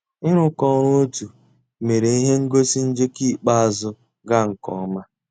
ị́ rụ́kọ̀ ọ́rụ́ ótú mérè íhé ngósì njéké ikpéázụ́ gàà nkè ọ́má.